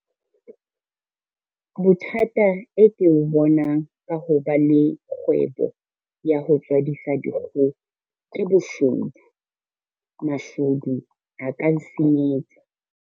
Bothata e ke bo bonang ka ho ba le kgwebo ya ho tswadisa dikgoho ke boshodu. Mashodu a ka nsenyetsa.